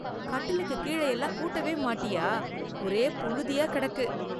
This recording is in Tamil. கட்டிலுக்கு கீழே எல்லாம் கூட்டவே மாட்டியா, ஒரே புழுதியா கிடக்கு.